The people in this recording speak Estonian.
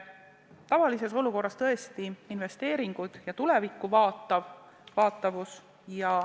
Tavalises olukorras on selleks investeeringud ja tulevikku vaatamine.